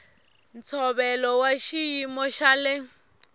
ntshovelo wa xiyimo xa le